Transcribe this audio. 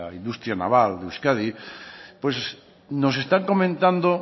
industria naval de euskadi pues nos están comentado